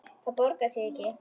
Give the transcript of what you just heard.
Það borgar sig ekki